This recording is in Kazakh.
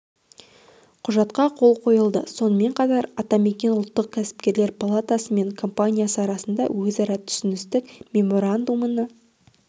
құжатқа қол қойылды сонымен қатар атамекен ұлттық кәсіпкерлер палатасы мен компаниясы арасында өзара түсіністік меморандумына